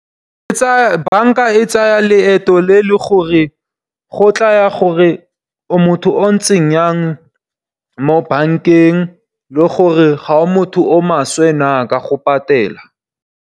Banka e tsaya leeto le leng gore go tla ya gore o motho o ntseng yang mo bankeng, le gore ga o motho o maswe na ka go patela.